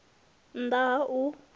nn ḓ a ha u